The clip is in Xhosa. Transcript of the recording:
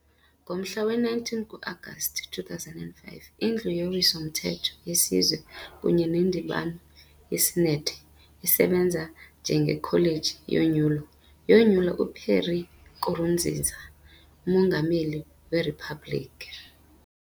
Ngomhla we-19 ku-Agasti 2005, iNdlu yoWiso-mthetho yeSizwe kunye neNdibano yeSenethi, esebenza njengeKholeji yoNyulo, yonyula uPierre Nkurunziza umongameli weriphabliki.